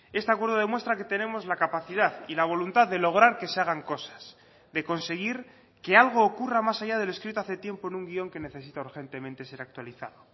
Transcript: este acuerdo demuestra que tenemos la capacidad y la voluntad de lograr que se hagan cosas de conseguir que algo ocurra más allá del escrito hace tiempo en un guion que necesita urgentemente ser actualizado